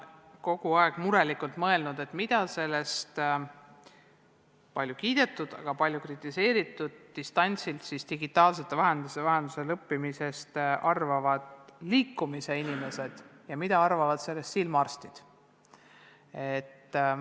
Ma olen kogu aeg murelikult mõelnud, mida sellest palju kiidetud – aga ka palju kritiseeritud – digitaalsete vahendite abil distantsilt õppimisest arvavad n-ö liikumisinimesed ja silmaarstid.